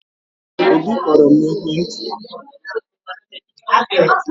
Obi kpọrọ m n'ekwentị